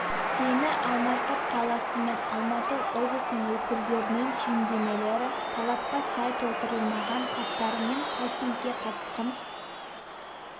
дені алматы қаласы мен алматы облысының өкілдерінен түйіндемелері талапқа сай толтырылмаған хаттары мен кастингке қатысқым